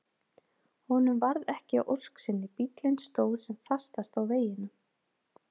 Honum varð ekki að ósk sinni, bíllinn stóð sem fastast á veginum.